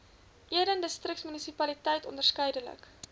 eden distriksmunisipaliteit onderskeidelik